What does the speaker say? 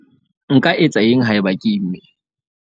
Nka etsa eng haeba ke imme?